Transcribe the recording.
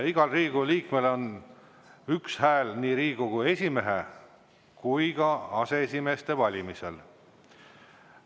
Igal Riigikogu liikmel on üks hääl nii Riigikogu esimehe kui ka aseesimeeste valimisel.